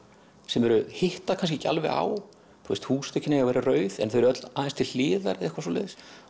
sem hitta kannski ekki alveg á húsþökin eiga að vera rauð en þau eru öll aðeins til hliðar eða eitthvað svoleiðis